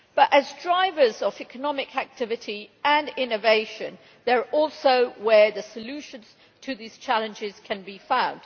However, as drivers of economic activity and innovation, cities are also where the solutions to these challenges can be found.